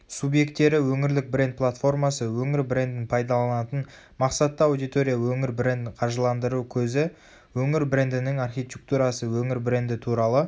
субъектері өңірлік бренд платформасы өңір брендін пайдаланатын мақсатты аудитория өңір брендін қаржыландыру көзі өңір брендінің архитектурасы өңір бренді туралы